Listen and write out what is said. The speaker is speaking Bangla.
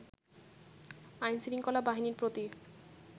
আইন-শৃঙ্খলা বাহিনীর প্রতি